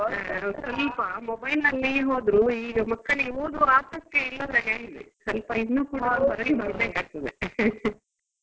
ಸ್ವಲ್ಪ mobile ನಲ್ಲೆ ಹೋದ್ರು ಈಗ ಮಕ್ಕಳಿಗೆ ಓದುವ ಆಸಕ್ತಿಯೇ ಇಲ್ಲದಾಗೆ ಆಗಿದೆ ಸ್ವಲ್ಪ ಇನ್ನು ಕೂಡ ಮರಳಿ ಬರ್ಬೇಕಾಗ್ತದೆ .